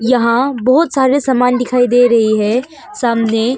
यहां बहोत सारे समान दिखाई दे रहे है सामने।